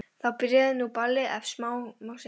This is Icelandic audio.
Þá byrjaði nú ballið ef svo má segja.